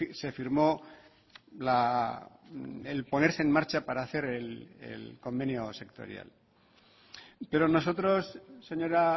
se firmó el ponerse en marcha para hacer el convenio sectorial pero nosotros señora